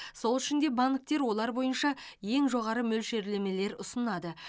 сол үшін де банктер олар бойынша ең жоғары мөлшерлемелер ұсынады